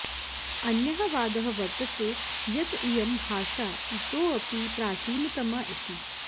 अन्यः वादः वर्तते यत् इयं भाषा इतोपि प्राचीनतमा इति